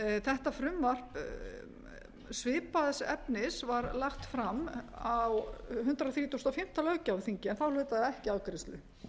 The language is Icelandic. þetta frumvarp svipaðs efnis var lagt fram á hundrað þrítugasta og fimmta löggjafarþingi en þá hlaut það ekki afgreiðslu